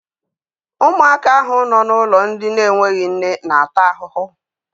Ụmụaka ahụ nọ n'ụlọ ndị n'enweghị nne n'ata ahụhụ.